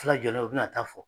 jɔlen no u bɛna taa fɔ.